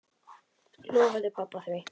Lofaði pabba því.